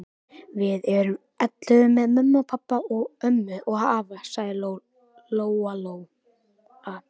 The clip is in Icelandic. Við erum ellefu með mömmu og pabba og ömmu og afa, sagði Lóa-Lóa.